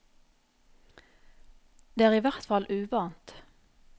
Det er i hvert fall uvant.